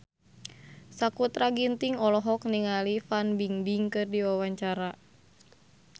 Sakutra Ginting olohok ningali Fan Bingbing keur diwawancara